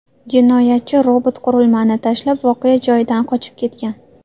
Jinoyatchi robot qurilmani tashlab, voqea joyidan qochib ketgan.